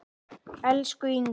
Elsku Ingó.